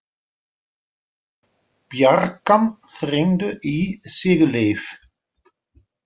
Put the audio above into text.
Bjarkan, hringdu í Sigurleif.